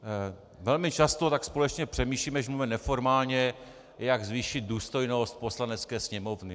Velmi často tak společně přemýšlíme, když mluvíme neformálně, jak zvýšit důstojnost Poslanecké sněmovny.